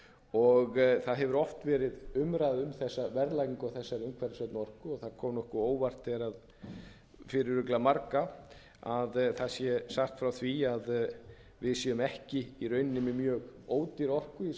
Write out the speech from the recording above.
og það hefur oft verið umræða um verðlagningu á þessari umhverfisvænu orku og það kom nokkuð á óvart þegar fyrir örugglega marga að það sé sagt frá því að við séum ekki í rauninni með mjög ódýra orku í samanburði við aðra aðila